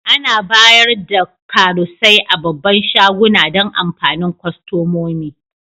Ana bayar da karusai a babban shaguna Dan amfanin kostomomi.